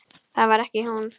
Það var ekki hún.